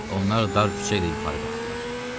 Onlar dar küçəyə yuxarı qalxdılar.